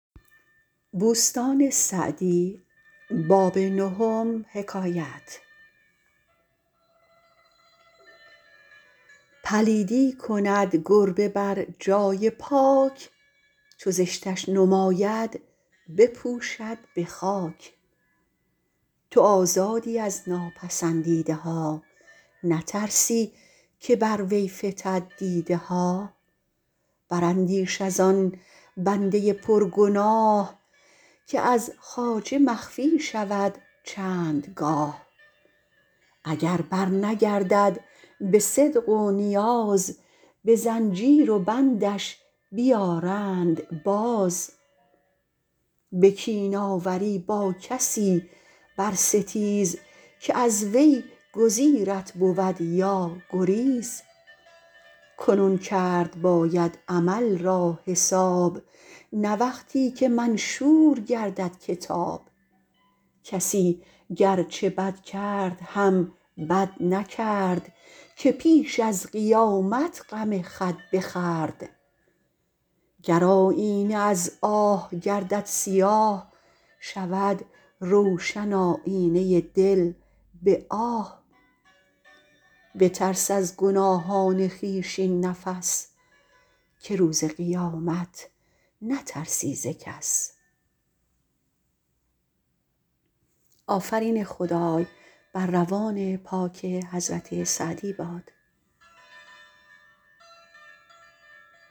پلیدی کند گربه بر جای پاک چو زشتش نماید بپوشد به خاک تو آزادی از ناپسندیده ها نترسی که بر وی فتد دیده ها براندیش از آن بنده پرگناه که از خواجه مخفی شود چند گاه اگر برنگردد به صدق و نیاز به زنجیر و بندش بیارند باز به کین آوری با کسی برستیز که از وی گزیرت بود یا گریز کنون کرد باید عمل را حساب نه وقتی که منشور گردد کتاب کسی گرچه بد کرد هم بد نکرد که پیش از قیامت غم خود بخورد گر آیینه از آه گردد سیاه شود روشن آیینه دل به آه بترس از گناهان خویش این نفس که روز قیامت نترسی ز کس